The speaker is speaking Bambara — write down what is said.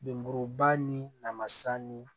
Lemuruba ni lamasa ni